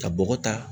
Ka bɔgɔ ta